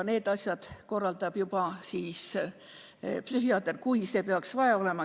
Need asjad korraldab psühhiaater, kui seda peaks vaja olema.